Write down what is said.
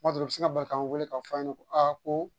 Kuma dɔ la u bɛ se bari k'an weele k'a fɔ a ɲɛna ko a ko